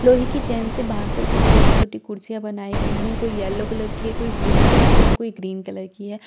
लोहे की चैन से बांधकर कुछ छोटी-छोटी कुर्सियां बनाई गई हैं कोई येलो कलर की है कोई ब्लू कलर की है कोई ग्रीन कलर की है।